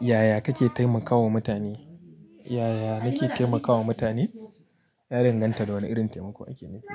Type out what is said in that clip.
Yaya kake taimakawa mutane? Yaya nake taimakawa mutane? Ya danganta da wana irin taimako ake nufi.